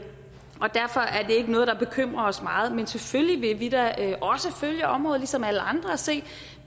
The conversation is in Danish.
ikke noget der bekymrer os meget men selvfølgelig vil vi da også følge området ligesom alle andre og se